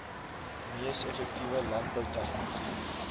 mees effektiewe landboutegnologie